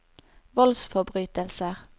voldsforbrytelser